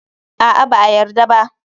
A'a, ba a yarda ba.